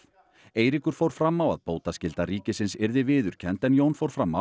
Eiríkur fór fram á að bótaskylda ríkisins yrði viðurkennd en Jón fór fram